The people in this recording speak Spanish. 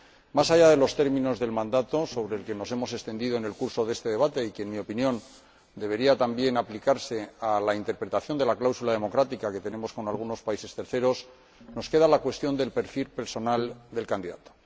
Más allá de los términos del mandato, sobre el que nos hemos extendido en el curso de este debate y que, en mi opinión, debería también aplicarse a la interpretación de la cláusula democrática que tenemos con algunos terceros países, nos queda la cuestión del perfil personal del candidato.